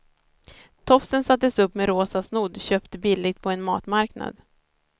Tofsen sattes upp med rosa snodd köpt billigt på en matmarknad.